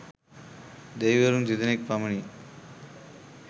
දෙවිවරුන් තිදෙනෙක් පමණි.